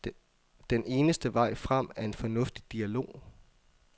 Den eneste vej frem er en fornuftig dialog.